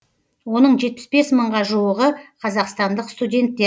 оның жетпіс бес мыңға жуығы қазақстандық студенттер